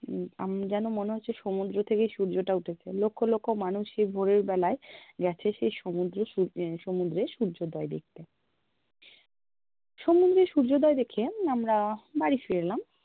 উম আমি যেন মনে হচ্ছে সমূদ্র থেকেই সূর্যটা উঠেছে লক্ষ-লক্ষ মানুষ এই ভোরের বেলায় গেছে সেই সমূদ্র উম সমুদ্রে সূর্যোদয় দেখ্তে সমুদ্রে সূর্যোদয় দেখে আমরা বাড়ি ফিরে এলাম